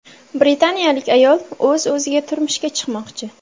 Britaniyalik ayol o‘z-o‘ziga turmushga chiqmoqchi.